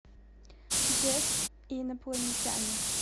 джефф и инопланетяне